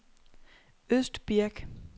Østbirk